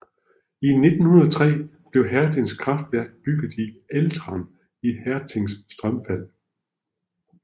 I 1903 blev Hertings kraftværk bygget i Ätran i Hertings strømfald